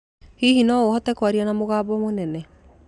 Hihi no ũhote kwaria na mũgambo mũnene?